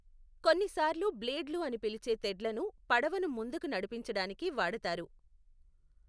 కొన్నిసార్లు బ్లేడ్లు అని పిలిచే తెడ్లను పడవను ముందుకి నడిపించడానికి వాడుతారు.